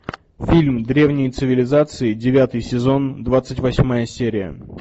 фильм древние цивилизации девятый сезон двадцать восьмая серия